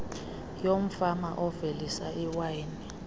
yomfama ovelisa iwayini